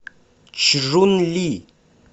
чжунли